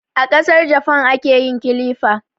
A Kasar Jafan ake yin kilifa